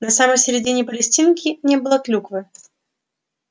на самой середине палестинки не было клюквы